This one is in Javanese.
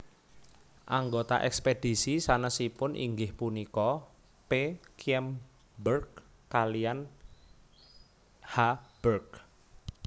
Anggota ekspedisi sanesipun inggih punika P Kyem berg kaliyan H berg